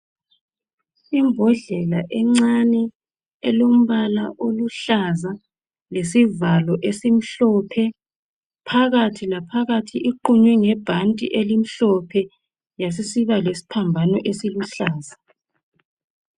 Imbodlela encane elombala oluhlaza lesivalo esimhlophe, phakathi laphakathi iqunywe ngebhanti elimhlophe yasisiba lesiphambano esiluhlaza